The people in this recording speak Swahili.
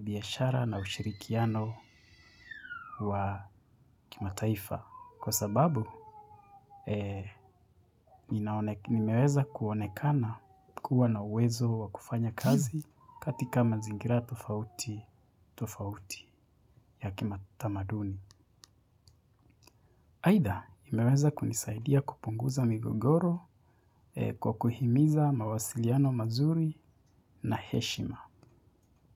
biyashara na ushirikiano wa kimataifa. Kwa sababu, nimeweza kuonekana kuwa na uwezo wa kufanya kazi katika mazingira tofauti ya kima tamaduni. Haida, nimeweza kunisaidia kupunguza migogoro kwa kuhimiza mawasiliano mazuri na heshima.